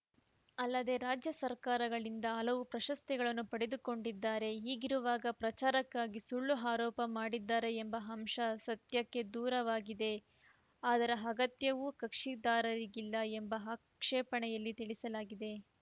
ಅಲ್ಲದೆ ರಾಜ್ಯ ಸರ್ಕಾರಗಳಿಂದ ಹಲವು ಪ್ರಶಸ್ತಿಗಳನ್ನು ಪಡೆದುಕೊಂಡಿದ್ದಾರೆ ಹೀಗಿರುವಾಗ ಪ್ರಚಾರಕ್ಕಾಗಿ ಸುಳ್ಳು ಆರೋಪ ಮಾಡಿದ್ದಾರೆ ಎಂಬ ಅಂಶ ಸತ್ಯಕ್ಕೆ ದೂರವಾಗಿದೆ ಅದರ ಅಗತ್ಯವೂ ಕಕ್ಷಿದಾರರಿಗಿಲ್ಲ ಎಂದು ಆಕ್ಷೇಪಣೆಯಲ್ಲಿ ತಿಳಿಸಲಾಗಿದೆ